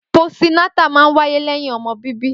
Pósí nátà mà ń wàyé lẹyin ọmọ bíbi